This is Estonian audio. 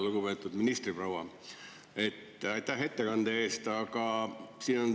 Lugupeetud ministriproua, aitäh ettekande eest!